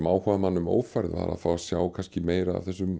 áhugamann um ófærð var að fá að sjá meira af þessum